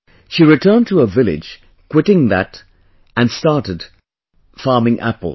She returned to her village quitting this and started farming apple